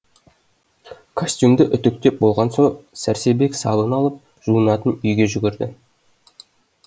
костюмді үтіктеп болған соң сәрсебек сабын алып жуынатын үйге жүгірді